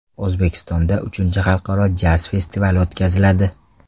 O‘zbekistonda uchinchi xalqaro jaz festivali o‘tkaziladi.